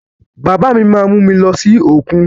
Bàbá mí má mú mi lọ sí òkun.